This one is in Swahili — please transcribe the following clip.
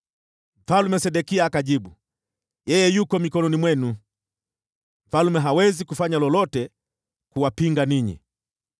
Mfalme Sedekia akajibu, “Yeye yuko mikononi mwenu! Mfalme hawezi kufanya lolote kuwapinga ninyi.”